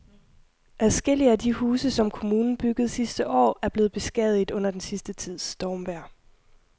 Adskillige af de huse, som kommunen byggede sidste år, er blevet beskadiget under den sidste tids stormvejr.